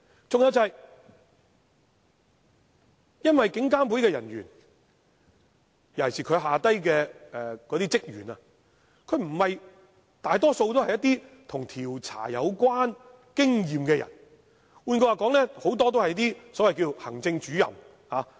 再者，監警會人員，尤其是在下層的職員，大多數均不具備調查經驗；換言之，很多人也是所謂行政主任。